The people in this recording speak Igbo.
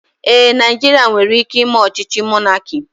Ee, Naijiria nwere ike ime ọchịchị mọnaki